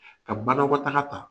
Ka banakɔtaga ta